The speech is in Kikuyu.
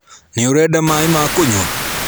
Nĩũrenda maĩ ma kũnyua?